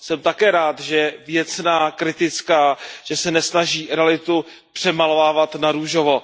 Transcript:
Jsem také rád, že je věcná, kritická, že se nesnaží realitu přemalovávat na růžovo.